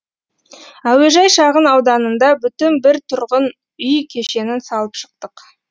әуежай шағын ауданында бүтін бір тұрғын үй кешенін салып шықтық